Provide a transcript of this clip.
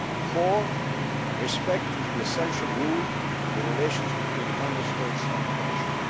Council. Four, respect is the essential rule in relations between the Member States and the